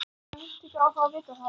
Ég á heimtingu á að fá að vita það.